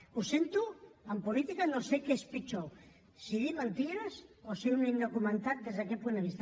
ho sento en política no sé què és pitjor si dir mentides o ser un indocumentat des d’aquest punt de vista